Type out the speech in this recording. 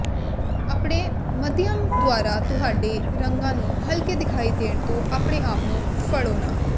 ਆਪਣੇ ਮਾਧਿਅਮ ਦੁਆਰਾ ਤੁਹਾਡੇ ਰੰਗਾਂ ਨੂੰ ਹਲਕੇ ਦਿਖਾਈ ਦੇਣ ਤੋਂ ਆਪਣੇ ਆਪ ਨੂੰ ਫੜੋ ਨਾ